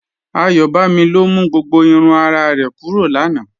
Ayọbámí ló mú gbogbo ìrùn àrà rẹ̀ kúrọ̀ láńà.